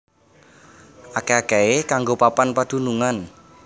Akèh akèhé kanggo papan padunungan